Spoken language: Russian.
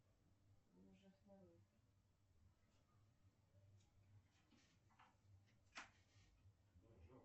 включи телевизионный канал культура